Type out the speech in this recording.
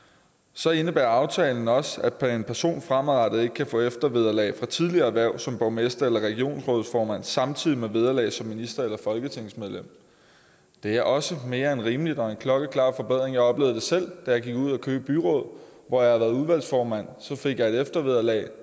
så indebærer aftalen også at en person fremadrettet ikke kan få eftervederlag fra tidligere erhverv som borgmester eller regionsrådsformand samtidig med vederlag som minister eller folketingsmedlem det er også mere end rimeligt og en klokkeklar forbedring jeg oplevede det selv da jeg gik ud af køge byråd hvor jeg har været udvalgsformand og så fik jeg et eftervederlag og